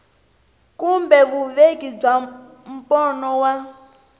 kumbe vuveki bya mbono wa